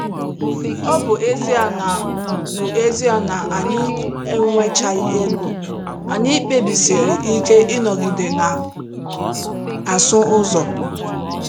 Ọ bụ ezie na bụ ezie na anyị enwechaghị ego, anyị kpebisịrị ike ịnọgide na - asụ ụzọ.